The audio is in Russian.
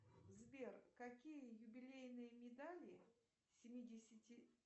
сбер какие юбилейные медали семидесяти